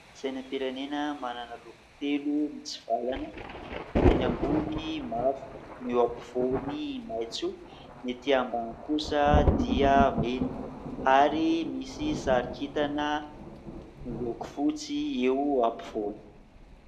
Sainam-pirenena manana loko telo mitsivalana : eny ambony mavo, ny eo ampovoany maitso ny ety ambany kosa dia mena, ary misy sary kintana miloko fotsy eo ampovoany.